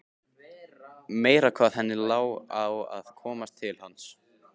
Meira hvað henni lá á að komast til hans!